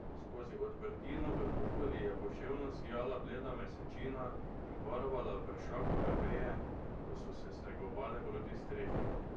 Skozi odprtino v kupoli je poševno sijala bleda mesečina in barvala vršakove veje, ko so se stegovale proti strehi.